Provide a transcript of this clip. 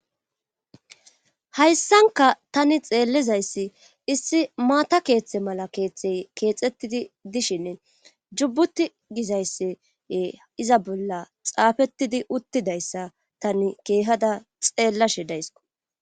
Hayssanka tani xeellizayssi issi maata keeththe mala keeththey keexettidi dishinne jubbuti gizayssi iza bolla xaafettidi uttidayssa tani keehada xeellashe dayssikko